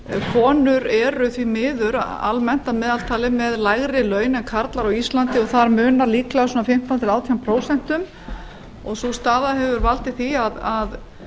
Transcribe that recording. konur eru því miður almennt að meðaltali með l ári laun en karlar á íslandi og þar munar líklega fimmtán til átján prósent og sú staða hefur valdið því að